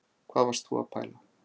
Hvað varst þú að pæla